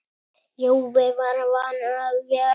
Jói var vanur að vera.